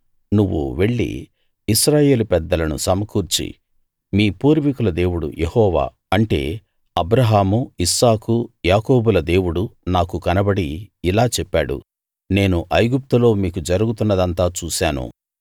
నువ్వు వెళ్లి ఇశ్రాయేలు పెద్దలను సమకూర్చి మీ పూర్వీకుల దేవుడు యెహోవా అంటే అబ్రాహాము ఇస్సాకు యాకోబుల దేవుడు నాకు కనబడి ఇలా చెప్పాడు నేను ఐగుప్తులో మీకు జరుగుతున్నదంతా చూశాను